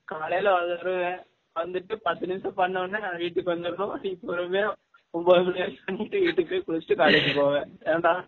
காலைல வருவேன் வந்துட்டு பத்து நிமிஷம் பன்ன உடனே நா வீடுக்கு வந்துரனும், நீ பொருமயா ஒம்பொது மனி வரைக்கும் பன்னிட்டு வீடுக்கு போய் குலிச்சிட்டு college போவ ஏன் டா